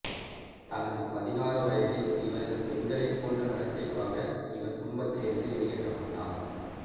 தனது பதினாறு வயதில் இவரது பெண்களைப் போன்ற நடத்தைக்காக இவர் குடும்பத்திலிருந்து வெளியேற்றப்பட்டார்